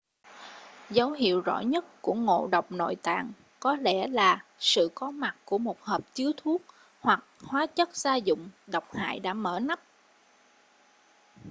dấu hiệu rõ nhất của ngộ độc nội tạng có lẽ là sự có mặt của một hộp chứa thuốc hoặc hóa chất gia dụng độc hại đã mở nắp